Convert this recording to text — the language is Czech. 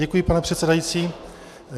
Děkuji pane předsedající.